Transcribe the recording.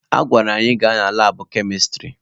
A gwara anyị gawa na labụ kemịstrị